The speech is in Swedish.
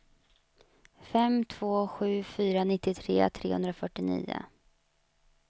fem två sju fyra nittiotre trehundrafyrtionio